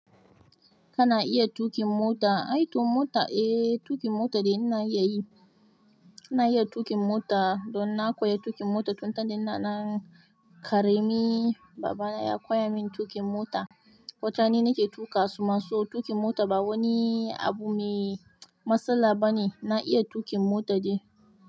Kana iya tuƙin mota? Ai aikin mota, eh tuƙin mota dai na iya yi. Na iya tuƙin mota don na koya tuƙin mota tun da ina dan ƙarami. Babana ya koya min tuƙin mota. Wataran ni nake tuƙa su ma so tuƙin mota ba wani abu mai matsala ba ne. Na iya tuƙin mota dai.